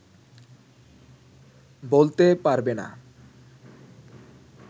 বলতে পারবে না